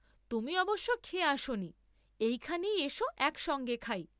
তুমি অবশ্য খেয়ে আসনি, এইখানেই এস এক সঙ্গে খাই।